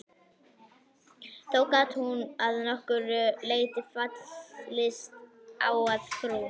Þó gat hún að nokkru leyti fallist á að frú